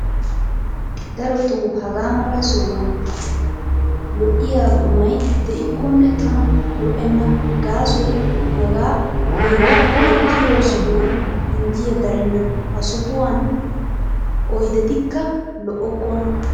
Darotoo hagaa mala sohuwaan lo''iyaa qumayi diikkonne tana lo''enna gaasoyi hagaa heeran uttiyoo sohoyi injjiyaa darenna. Ha sohuwaan oyidetikka lo''okkonaa.